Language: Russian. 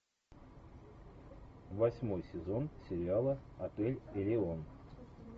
восьмой сезон сериала отель элеон